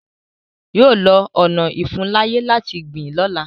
Yọ lọ ọna ìfuńláyè láti gbìn lọ́la.